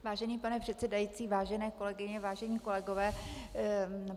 Vážený pane předsedající, vážené kolegyně, vážení kolegové.